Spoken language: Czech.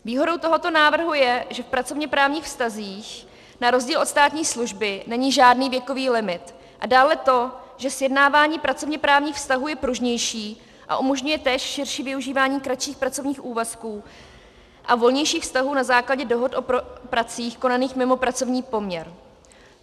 Výhodou tohoto návrhu je, že v pracovněprávních vztazích na rozdíl od státní služby není žádný věkový limit, a dále to, že sjednávání pracovněprávních vztahů je pružnější a umožňuje též širší využívání kratších pracovních úvazků a volnějších vztahů na základě dohod o pracích konaných mimo pracovní poměr.